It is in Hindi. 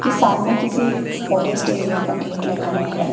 के सामने किसी फॉरेस्ट एरिया का गेट लगा हुआ है।